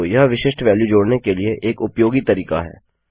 तो यह विशिष्ट वेल्यू जोड़ने के लिए एक उपयोगी तरीका है